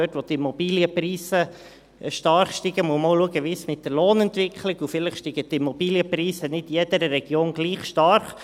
Dort, wo die Immobilienpreise stark steigen, muss man auch schauen, wie es mit der Lohnentwicklung ist, und vielleicht steigen die Immobilienpreise nicht in jeder Region gleich stark.